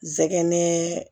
Zɛgɛn